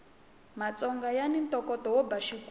matsonga yani ntokoto wo ba xigubu